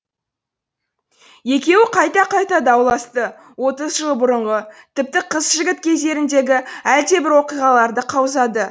екеуі қайта қайта дауласты отыз жыл бұрынғы тіпті қыз жігіт кездеріндегі әлдебір оқиғаларды қаузады